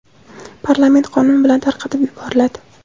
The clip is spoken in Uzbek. parlament qonun bilan tarqatib yuboriladi.